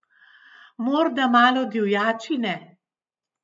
Morda malo divjačine?